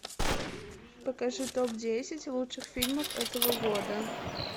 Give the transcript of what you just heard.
покажи топ десять лучших фильмов этого года